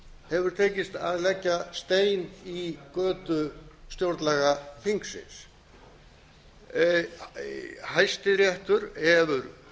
hefur tekist að leggja stein í götu stjórnlagaþingsins hæstiréttur hefur